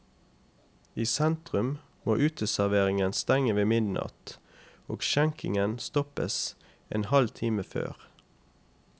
I sentrum må uteserveringen stenge ved midnatt, og skjenkingen stoppes en halv time før.